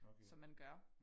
Som man gør